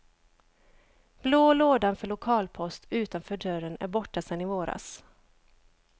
Blå lådan för lokalpost utanför dörren är borta sen i våras.